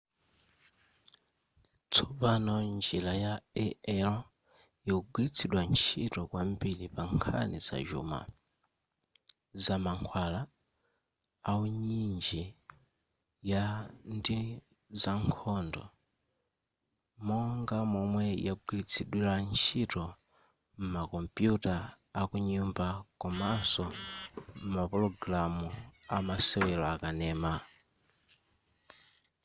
tsopano njira ya ai ikugwiritsidwa ntchito kwambiri pankhani zachuma zamankhwala uinjiniya ndi zankhondo monga momwe yagwiritsidwira ntchito m'makompuyuta akunyumba komaso mapulogalamu amasewero akanema